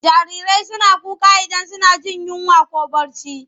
Jarirai suna kuka idan suna jin yinwa ko barci.